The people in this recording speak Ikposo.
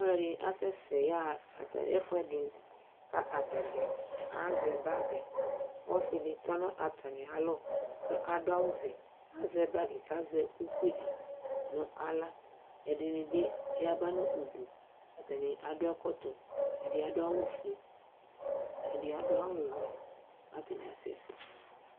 aloɛdi asɛ sɛ ya ɣa atani ya ɣa ɛfoɛdi ko atadza azɛ bag ɔse di tɔ no atamialɔ ko ado awu vɛ azɛ bag ko azɛ ukpi di no ala ɛdini bi yaba no udu atani ado ɛkɔtɔ ɛdi ado awu fue ɛdi ado awu wɛ ko atani asɛ sɛ